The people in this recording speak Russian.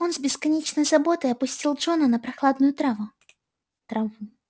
он с бесконечной заботой опустил джона на прохладную траву траву